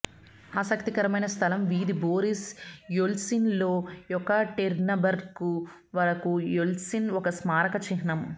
ఆసక్తికరమైన స్థలం వీధి బోరిస్ యెల్ట్సిన్ లో యెకాటెరిన్బర్గ్ వరకు యెల్ట్సిన్ ఒక స్మారక చిహ్నం